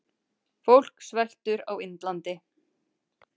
Fólk sveltur á Indlandi.